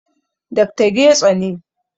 Dr. Getso ne